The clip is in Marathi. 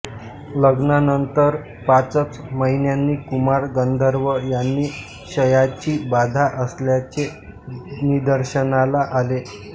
लग्नानंतर पाचच महिन्यांनी कुमार गंधर्व यांना क्षयाची बाधा असल्याचे निदर्शनाला आले